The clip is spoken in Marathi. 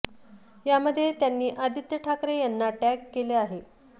यामध्ये त्यांनी आदित्य ठाकरे यांना टॅग केले आहे